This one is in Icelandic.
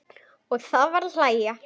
Og það var að hlæja.